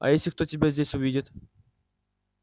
а если кто тебя здесь увидит